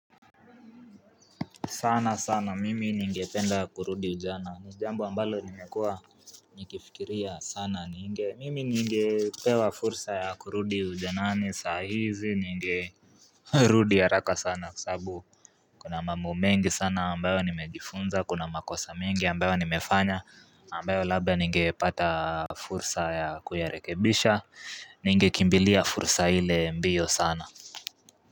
Sana sana mimi ningependa kurudi ujana ni jambo ambalo nimekua Nikifikiria sana mimi ningepewa fursa ya kurudi ujanani sahizi ninge Rudi haraka sana sabu kuna mambo mengi sana ambayo nimejifunza kuna makosa mengi ambayo nimefanya ambayo labba ninge pata fursa ya kuyarekebisha ninge kimbilia fursa ile mbiyo sana.